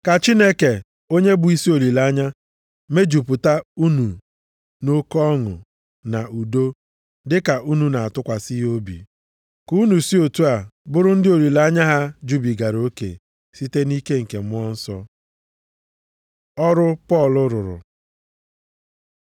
Ka Chineke onye bụ isi olileanya mejupụta unu nʼoke ọṅụ na udo dịka unu na-atụkwasị ya obi, ka unu si otu a bụrụ ndị olileanya ha jubigara oke site nʼike nke Mmụọ Nsọ. Ọrụ Pọl rụrụ